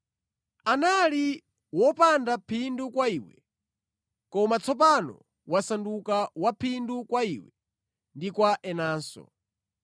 Anali wopanda phindu kwa iwe, koma tsopano wasanduka wa phindu kwa iwe ndi kwa inenso.